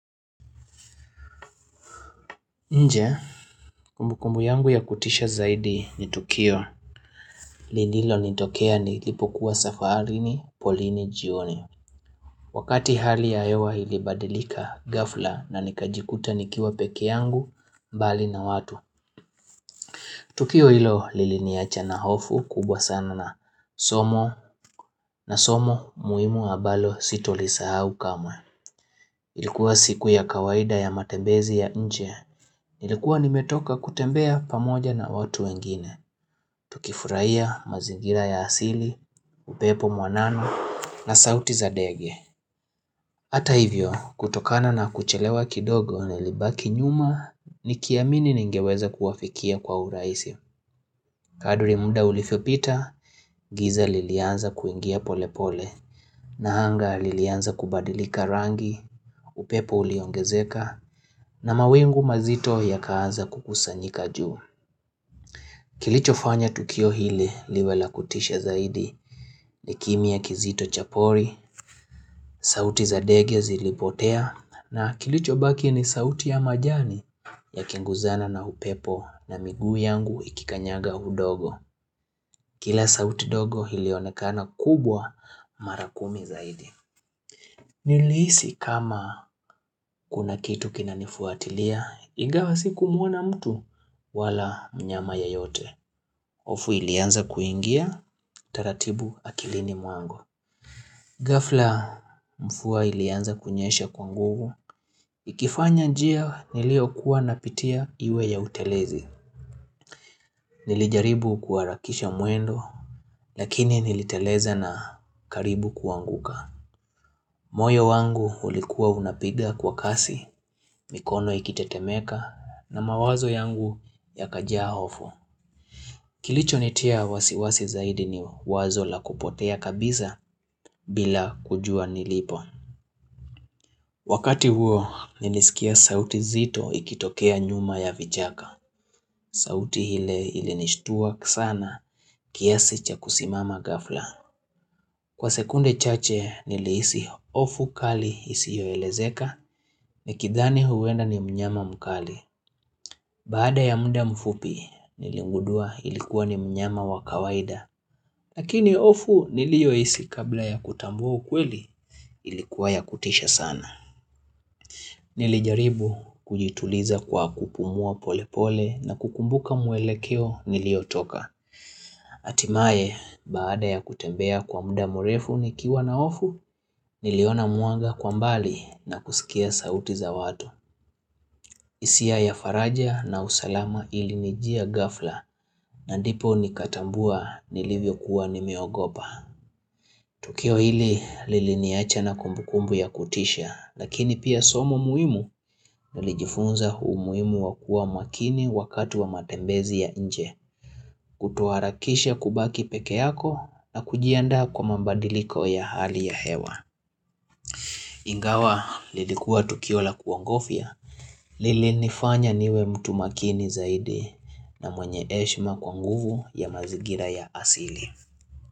Nje, kumbu kumbu yangu ya kutisha zaidi ni Tukio, lililo nitokea nilipokuwa safarini polini jioni. Wakati hali ya hewa ilibadilika ghafla na nikajikuta nikiwa pekee yangu mbali na watu. Tukio hilo lili niacha na hofu kubwa sana na somo na somo muhimu ambalo sitolisahau kamwe. Ilikuwa siku ya kawaida ya matembezi ya nje. Nilikuwa nimetoka kutembea pamoja na watu wengine. Tukifurahia mazingira ya asili, upepo mwanana na sauti za dege. Hata hivyo, kutokana na kuchelewa kidogo nilibaki nyuma, nikiamini ningeweza kuwafikia kwa urahisi. Kadri munda ulivyopita, giza lilianza kuingia pole pole, na anga lilianza kubadilika rangi, upepo uliongezeka, na mawingu mazito yakaanza kukusanyika juu. Kilicho fanya tukio hili liwe la kutisha zaidi ni kimya kizito cha pori, sauti za dege zilipotea na kilicho baki ni sauti ya majani ya kinguzana na upepo na migu yangu ikikanyaga udogo. Kila sauti dogo ilionekana kubwa marakumi zaidi. Nilihisi kama kuna kitu kina nifuatilia, ingawa siku muona mtu wala mnyama yeyote. hOfu ilianza kuingia, taratibu akilini mwangu. Ghafla mvua ilianza kunyesha kwa nguvu. Ikifanya njia nilio kuwa napitia iwe ya utelezi. Nilijaribu kuharakisha mwendo lakini niliteleza na karibu kuanguka moyo wangu ulikuwa unapiga kwa kasi mikono ikitetemeka na mawazo yangu yakajaa hofu Kilicho nitia wasiwasi zaidi ni wazo la kupotea kabisa bila kujua nilipo Wakati huo nilisikia sauti nzito ikitokea nyuma ya vichaka sauti ile ili nishtua sana kiasi cha kusimama ghafla. Kwa sekunde chache nilihisi hofu kali isi yo elezeka. Nikithani huenda ni mnyama mkali. Baada ya muda mfupi niligundua ilikuwa ni mnyama wakawaida. Lakini hofu niliyo hisi kabla ya kutambua ukweli ilikuwa ya kutisha sana. Nilijaribu kujituliza kwa kupumua pole pole na kukumbuka mwele keo nilio toka. Hatimaye, baada ya kutembea kwa muda murefu nikiwa na hofu, niliona mwanga kwa mbali na kusikia sauti za watu hisia ya faraja na usalama ilinijia ghafla na ndipo nikatambua nilivyo kuwa nimeogopa Tukio hili liliniacha na kumbukumbu ya kutisha, lakini pia somo muhimu nilijifunza umuhimu wa kua makini wakati wa matembezi ya nje Kutoharakisha kubaki peke yako na kujiandaa kwa mbadiliko ya hali ya hewa Ingawa lilikua Tukiola kuongofia lili nifanya niwe mtu makini zaidi na mwenye heshima kwa nguvu ya mazingira ya asili.